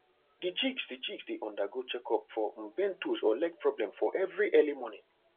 the chicks the chicks dey undergo check up for um bent toes or leg problem for every early morning